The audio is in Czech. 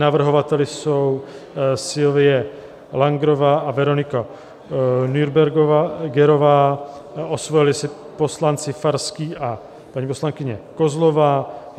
Navrhovateli jsou Silvie Langrová a Veronika Nürbergerová, osvojili si poslanci Farský a paní poslankyně Kozlová.